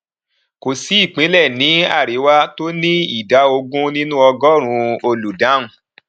kò sí ìpínlẹ ní àríwá tó ní ìdá ogún nínú ọgọrùnún olùdáhùn